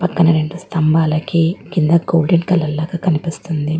పక్కన రెండు స్తంభాలకి కింద గోల్డెన్ కలర్ లాగా కనిపిస్తుంది.